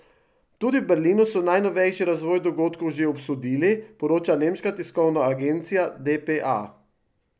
Tudi v Berlinu so najnovejši razvoj dogodkov že obsodili, poroča nemška tiskovna agencija dpa.